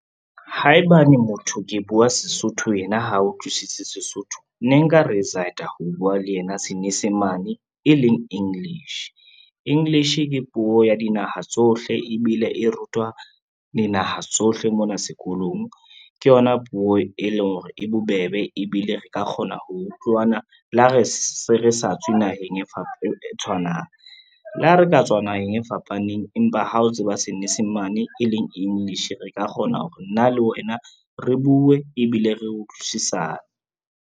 Haebane motho ke bua Sesotho yena ha utlwisise Sesotho, ne nka ho bua le yena Senyesemane e leng English. English ke puo ya dinaha tsohle ebile e rutwa dinaha tsohle mona sekolong, ke yona puo e leng hore e bobebe ebile re ka kgona ho utlwana le ha re se re sa tswe naheng e tshwanang. Le ha re ka tswa naheng e fapaneng, empa ha o tseba Senyesemane e leng English, re ka kgona hore nna le wena re bue, ebile re utlwisisane.